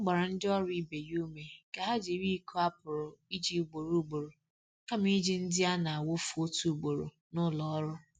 Ọ gbara ndị ọrụ ibe ya ume ka ha jiri iko a pụrụ iji ugboro ugboro kama iji ndị a na-awụfu otu ugboro n’ụlọ ọrụ.